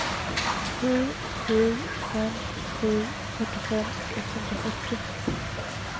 sju sju fem sju fyrtiofem etthundrafyrtio